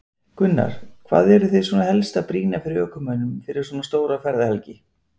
Gunnar: Hvað eruð þið svona helst að brýna fyrir ökumönnum fyrir svona stóra ferðahelgi?